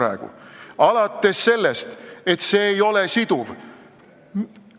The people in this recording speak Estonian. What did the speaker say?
Alustame sellest, et see pakt ei ole siduv.